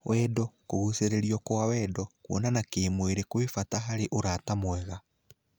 Wendo, kũngũcĩrĩrio kwa wendo, kũonana kĩmwĩrĩ kwĩ bata harĩ ũrata mwega.